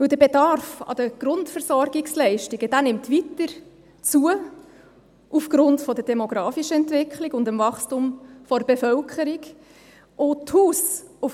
Der Bedarf an Grundversorgungsleistungen nimmt aufgrund der demografischen Entwicklung des Wachstums der Bevölkerung weiter zu.